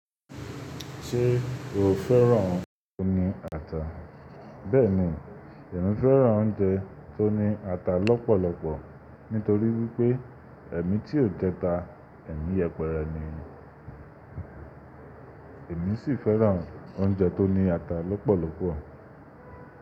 Ṣé o fẹ́ràn oúnjẹ tó ní ata? Bẹ́ẹ̀ni, èmi fẹ́ràn oúnjẹ tó ní ata lọ́pọ̀lọpọ̀ nítorí wípé èmi tí ó jẹ ta, èmi yẹpẹrẹ ni. Èmi sì fẹ́ràn oúnjẹ tó ní ata lọ́pọ̀lọpọ̀.